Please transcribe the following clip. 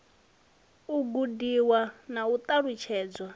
u gudiwa na u ṱalutshedzwa